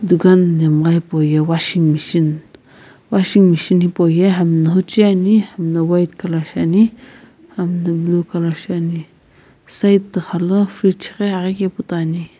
dukan nhemgha hipauye washing machine washing machine hipauye hami na huchui ani hami na white colour shiani hami na blue colour shiani side tuxala fridge ghi aghi kepu toi ani.